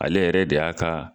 Ale yɛrɛ de y'a ka.